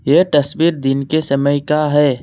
यह तस्वीर दिन के समय का है।